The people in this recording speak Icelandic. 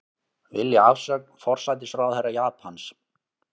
Vilja afsögn forsætisráðherra Japans